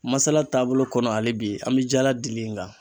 Masala taabolo kɔnɔ hali bi an bɛ jala dili in kan.